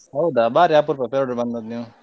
ಹೌದಾ ಬಾರಿ ಅಪರೂಪ Perdoor ಗೆ ಬಂದದ್ದು ನೀವು.